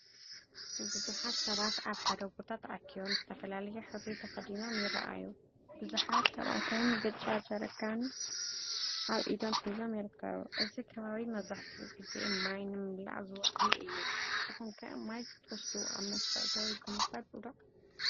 ብዙሓት ሰባት ኣብ ሓደ ቦታ ተኣኪቦም፡ ዝተፈላለየ ሕብሪ ተኸዲኖም ይረኣዩ። ብዙሓት ካብኣቶም ብጫ ጀሪካን ኣብ ኢዶም ሒዞም ይርከቡ። እዚ ከባቢ መብዛሕትኡ ግዜ ማይ ንምምላእ ዝውዕል እዩ። ንስኩምከ ማይ ክትወስድ ኣብ መስርዕ ደው ኢልኩም ትፈልጡ ዶ?